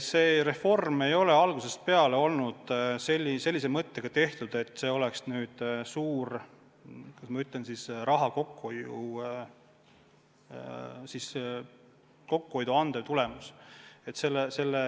See reform ei ole käivitatud sellise mõttega, et see peab andma suurt raha kokkuhoidu.